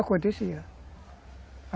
Acontecia.